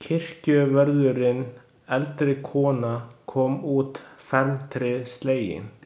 Kirkjuvörðurinn, eldri kona, kom út felmtri slegin.